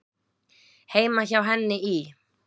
Heima hjá henni í